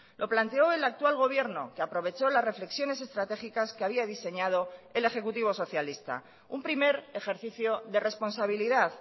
lo planteó el actual gobierno que aprovechó las reflexiones estratégicas que había diseñado el ejecutivo socialista un primer ejercicio de responsabilidad